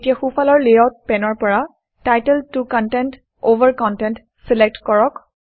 এতিয়া সোঁফালৰ লেআউট পেনৰ পৰা title 2 content over content select কৰক